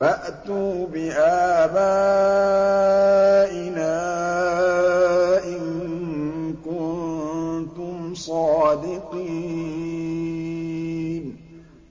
فَأْتُوا بِآبَائِنَا إِن كُنتُمْ صَادِقِينَ